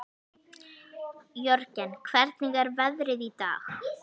Jörgen, hvernig er veðrið í dag?